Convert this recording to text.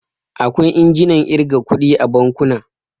Akwai injinan ƙirga kuɗi a bankuna.